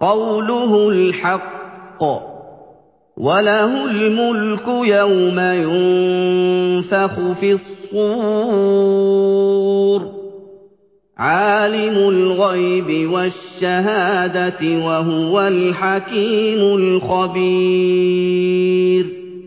قَوْلُهُ الْحَقُّ ۚ وَلَهُ الْمُلْكُ يَوْمَ يُنفَخُ فِي الصُّورِ ۚ عَالِمُ الْغَيْبِ وَالشَّهَادَةِ ۚ وَهُوَ الْحَكِيمُ الْخَبِيرُ